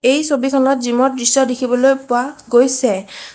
এই ছবিখনত জিম ৰ দৃশ্য দেখিবলৈ পোৱা গৈছে।